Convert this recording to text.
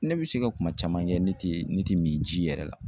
Ne bɛ se ka kuma caman kɛ ne tɛ ne tɛ min ji yɛrɛ la.